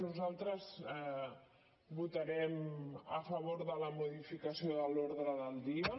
nosaltres votarem a favor de la modificació de l’ordre del dia